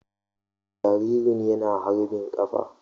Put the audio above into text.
Jaririn yana harbin kafa.